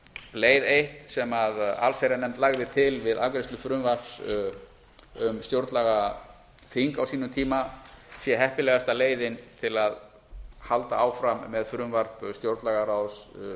leið eitt sem allsherjarnefnd lagði til við afgreiðslu frumvarps um stjórnlagaþing ná sínum tíma sé heppilegasta leiðin til að halda áfram með frumvarp stjórnlagaráðs